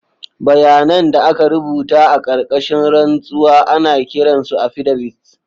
Bayanan da aka rubuta a ƙarƙashin rantsuwa ana kiran su affidavits.